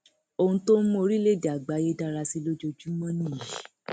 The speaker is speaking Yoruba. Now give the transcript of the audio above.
ohun tó ń mú orílẹèdè àgbáyé dára sí i lójoojúmọ nìyí